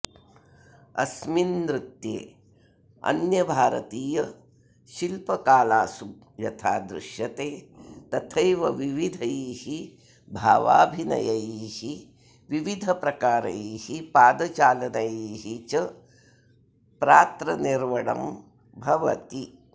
अस्मिन् नृत्ये अन्यभारतीयशिल्पकालासु यथा दृश्यते तथैव विविधैः भावाभिनयैः विविधप्रकारैः पादचालनैः च प्रात्रनिर्वणं भवति